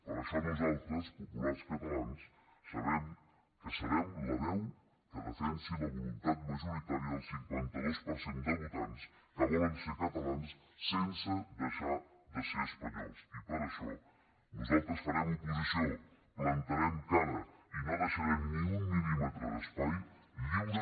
per això nosaltres populars catalans sabem que serem la veu que defensarà la voluntat majoritària del cinquanta dos per cent de votants que volen ser catalans sense deixar de ser espanyols i per això nosaltres farem oposició plantarem cara i no deixarem ni un mil·límetre d’espai lliure